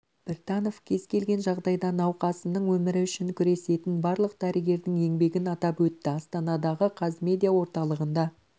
біртанов кез келген жағдайда науқасының өмірі үшін күресетін барлық дәрігердің еңбегін атап өтті астанадағы қазмедиа орталығында